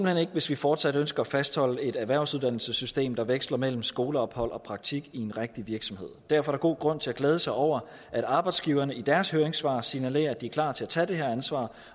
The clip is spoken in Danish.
hen ikke hvis vi fortsat ønsker at fastholde et erhvervsuddannelsessystem der veksler mellem skoleophold og praktik i en rigtig virksomhed derfor er der god grund til at glæde sig over at arbejdsgiverne i deres høringssvar signalerer at de er klar til at tage det her ansvar